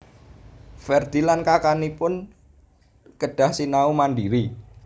Ferdi lan kakangipun kedah sinau mandiri